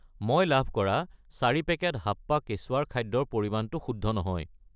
মই লাভ কৰা 4 পেকেট হাপ্পা কেচুৱাৰ খাদ্য ৰ পৰিমাণটো শুদ্ধ নহয়।